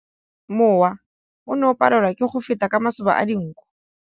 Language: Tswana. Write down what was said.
Mowa o ne o palelwa ke go feta ka masoba a dinko.